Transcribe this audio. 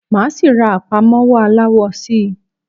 Máa síí rá àpámọ́wọ́ aláwọ síí